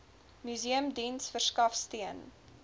museumdiens verskaf steun